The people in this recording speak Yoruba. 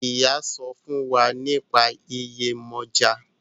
Iyá sọfún fún wá nípa Yemoja.